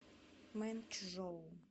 мэнчжоу